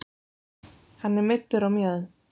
Hann er meiddur á mjöðm